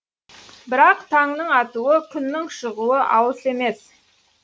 бірақ таңның атуы күннің шығуы алыс емес